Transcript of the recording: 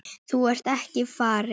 En þú ert ekki farinn.